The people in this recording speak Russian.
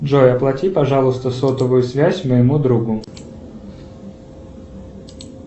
джой оплати пожалуйста сотовую связь моему другу